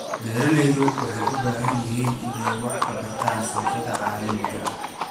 Beeralayda waxay u baahan yihiin inay wax ka bartaan suuqyada caalamiga ah.